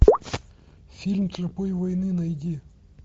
фильм тропой войны найди